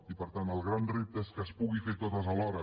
i per tant el gran repte és que es pugui fer totes alhora